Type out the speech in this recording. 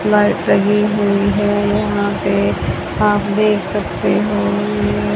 light लगी हुई है यहां पे आप देख सकते हो ये--